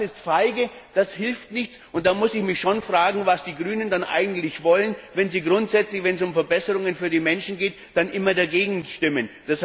Das ist feige, das hilft nichts, und da muss ich mich schon fragen, was die Grünen denn eigentlich wollen, wenn sie, wenn es um Verbesserungen für die Menschen geht, grundsätzlich immer dagegen stimmen.